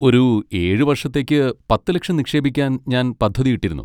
ഒരു ഏഴ് വർഷത്തേക്ക് പത്ത് ലക്ഷം നിക്ഷേപിക്കാൻ ഞാൻ പദ്ധതിയിട്ടിരുന്നു.